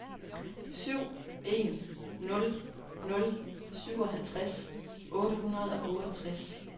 syv en nul nul syvoghalvtreds otte hundrede og otteogtres